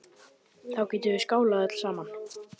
Þá getum við skálað öll saman.